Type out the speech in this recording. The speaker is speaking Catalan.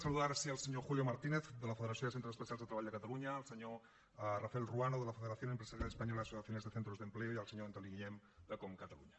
saludar ara sí el senyor julio martínez de la federació de centres especials de treball de catalunya el senyor rafael ruano de la federación empresarial española de asociaciones de centros de empleo i el senyor antoni guillén d’ecom catalunya